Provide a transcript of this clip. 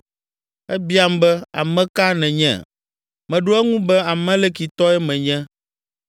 “Ebiam be, ‘Ame ka nènye?’ “Meɖo eŋu be ‘Amalekitɔe menye.’